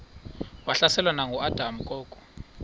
wahlaselwa nanguadam kok